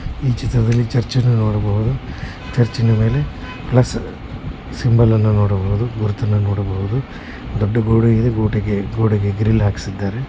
ಈ ಚಿತ್ರದಲ್ಲಿ ಚರ್ಚ್ ಅನ್ನ ನೋಡಬಹುದು ಚರ್ಚಿನ ಮೇಲೆ ಪ್ಲಸ್ ಸಿಂಬಲ್ ಅನ್ನ ನೋಡಬಹುದು ದೊಡ್ಡ ಗೋಡೆಯಲ್ಲಿ ಗೋಟಿಗೆ ಗೋಡೆಗೆ ಗ್ರಿಲ್ ಹಾಕಿಸಿದ್ದಾರೆ .